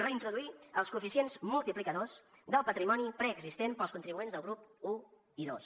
reintroduir els coeficients multiplicadors del patrimoni preexistent per als contribuents del grup i i ii